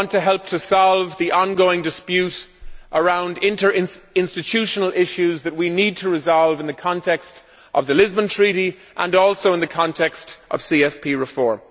I want to help to solve the ongoing dispute around interinstitutional issues that we need to resolve in the context of the Lisbon Treaty and also in the context of CFP reform.